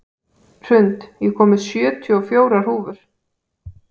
Hrund, ég kom með sjötíu og fjórar húfur!